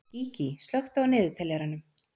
Gígí, slökktu á niðurteljaranum.